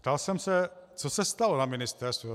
Ptal jsem se, co se stalo na ministerstvu.